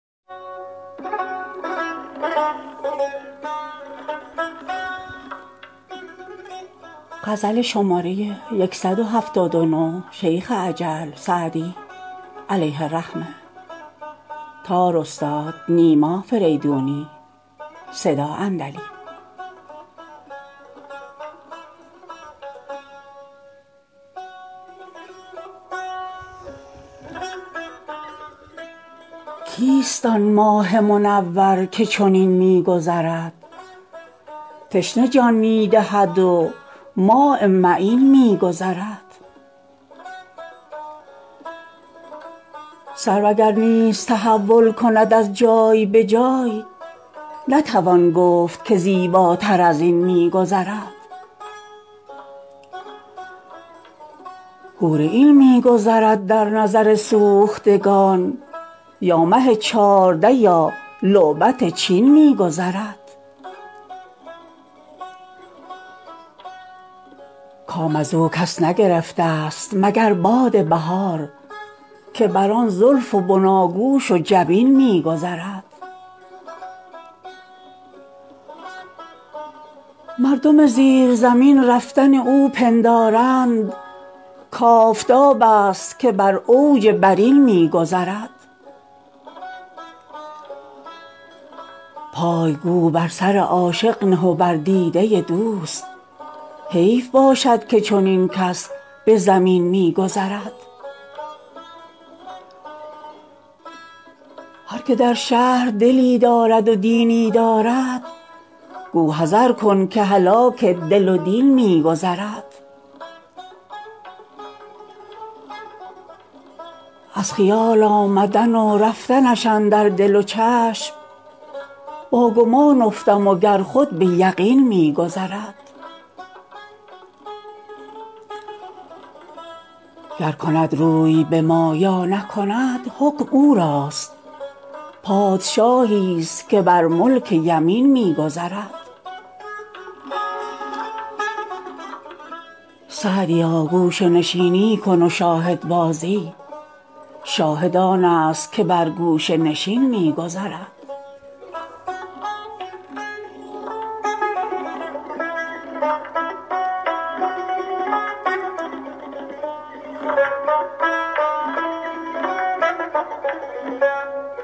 کیست آن ماه منور که چنین می گذرد تشنه جان می دهد و ماء معین می گذرد سرو اگر نیز تحول کند از جای به جای نتوان گفت که زیباتر از این می گذرد حور عین می گذرد در نظر سوختگان یا مه چارده یا لعبت چین می گذرد کام از او کس نگرفتست مگر باد بهار که بر آن زلف و بناگوش و جبین می گذرد مردم زیر زمین رفتن او پندارند کآفتابست که بر اوج برین می گذرد پای گو بر سر عاشق نه و بر دیده دوست حیف باشد که چنین کس به زمین می گذرد هر که در شهر دلی دارد و دینی دارد گو حذر کن که هلاک دل و دین می گذرد از خیال آمدن و رفتنش اندر دل و چشم با گمان افتم و گر خود به یقین می گذرد گر کند روی به ما یا نکند حکم او راست پادشاهیست که بر ملک یمین می گذرد سعدیا گوشه نشینی کن و شاهدبازی شاهد آنست که بر گوشه نشین می گذرد